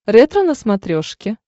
ретро на смотрешке